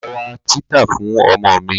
Mo ma ra títà fún ọmọ mi.